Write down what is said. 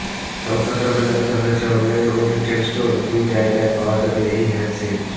সংস্থার তরফে জানানো হয়েছে অনলাইন ও রিটেল স্টোর দুই জায়গায় পাওয়া যাবে এই হ্যান্ডসেট